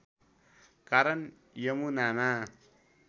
कारण यमुनामा